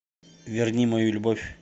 верни мою любовь